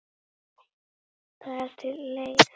Það er til leið.